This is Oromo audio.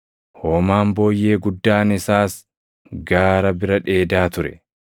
Hoomaan booyyee guddaan isaas gaara bira dheedaa ture.